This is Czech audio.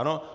Ano?